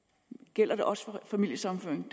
gælder det også for familiesammenføring